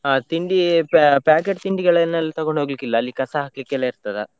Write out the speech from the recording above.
ಹ ತಿಂಡಿ packet ತಿಂಡಿಗಳನ್ನೆಲ್ಲ ತಗೊಂಡ್ ಹೋಗ್ಲಿಕ್ಕಿಲ್ಲ, ಅಲ್ಲಿ ಕಸ ಹಾಕ್ಲಿಕ್ಕೆಲ್ಲ ಇರ್ತದ.